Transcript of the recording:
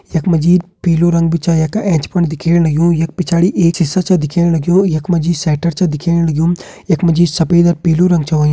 यख मा जी पीलू रंग भी छ यख एंच फुंड दिखेण लग्युं यख पिछाड़ी एक सीसा छा दिखेण लग्युं यख मा जी शेटर छा दिखेण लग्युं यख मा जी सफ़ेद अ पीलू रंग छ होयुं।